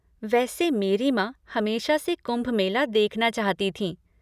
वैसे मेरी माँ हमेशा से कुंभ मेला देखना चाहती थीं।